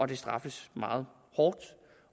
det straffes meget hårdt